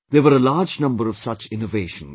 There were a large number of such innovations